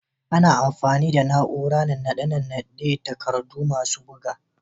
Ana amfani da na'urar nannaɗe dan nannaɗe takardu masu buga.